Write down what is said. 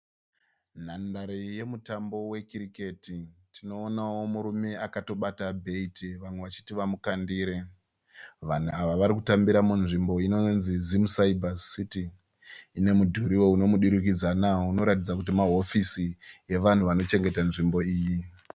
Nhandare yemutambo wekiriketi. Tinoonawo murume akatobata bheiti vamwe vachiti vamukandire. Vanhu ava varikutambira munzvimbo inonzi' Zim Cyber City'. Inemudhuriwo unomudurikidzana unoratidza kuti mahofisi evanhu vanochengeta nzvimbo iyi.